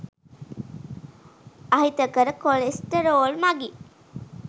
අහිතකර කොලෙස්ටරෝල් මගින්